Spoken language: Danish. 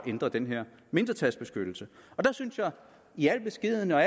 ændre den her mindretalsbeskyttelse der synes jeg i al beskedenhed og